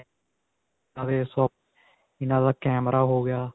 ਇਹਨਾਂ ਦਾ ਕੈਮਰਾ ਹੋ ਗਿਆ